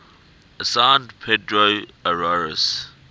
assigned pedro arias